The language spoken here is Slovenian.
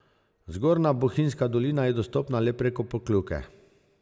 Zgornja bohinjska dolina je dostopna le preko Pokljuke.